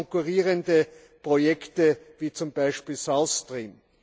konkurrierende Projekte wie zum Beispiel South Stream.